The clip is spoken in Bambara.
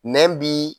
Nɛn bi